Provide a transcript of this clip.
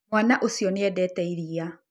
Mwana ucio nĩ endete iria.